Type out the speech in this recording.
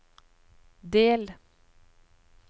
del